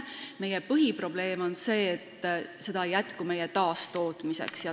Meie põhiprobleem on see, et sellest ei jätku meie taastootmiseks.